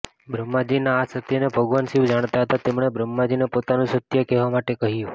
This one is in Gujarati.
બ્રહ્માજીના આ અસત્યને ભગવાન શિવ જાણતા હતા તેમણે બ્રહ્માજીને પોતાનું સત્ય કહેવા માટે કહ્યું